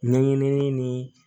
Ɲɛɲinini ni